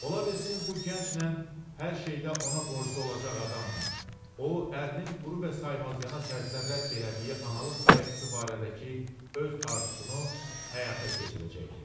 Ola bilsin bu gənclə, hər şeydə ona borclu olacaq adamla o ərinin quru və saymazyana tərzdə rədd elədiyi analıq qayğısı barədəki öz arzusunu həyata keçirəcəkdi.